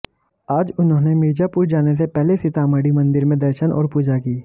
आज उन्होंने मिर्जापुर जाने से पहले सीतामढ़ी मंदिर में दर्शन और पूजा की